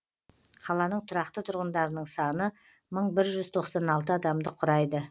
қаланың тұрақты тұрғындарының саны мың бір жүз тоқсан алты адамды құрайды